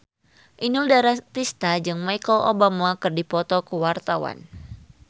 Inul Daratista jeung Michelle Obama keur dipoto ku wartawan